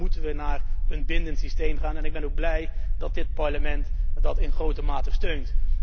Dan moeten wij naar een bindend systeem gaan en ik ben blij dat dit Parlement dat in grote mate steunt.